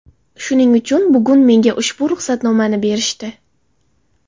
Shuning uchun bugun menga ushbu ruxsatnomani berishdi.